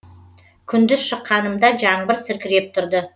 күндіз шыққанымда жаңбыр сіркіреп тұрды